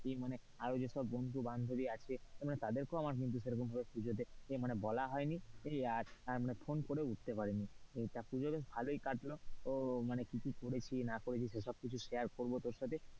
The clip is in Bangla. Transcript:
ই মানে আরো যেসব বন্ধু-বান্ধবী আছে তাদেরকেও আমার কিন্তু সেরকম ভাবে পুজো দেখতে বলা হয়নি। ই আর মানে ফোন করেও উঠতে পারিনি তা পুজো বেশ ভালোই কাটল ও মানে কি কি করেছি কি না করেছি সেসব আমি share করব তোর সাথে,